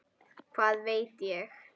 Hvað veit ég?